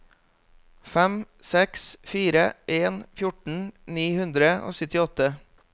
fem seks fire en fjorten ni hundre og syttiåtte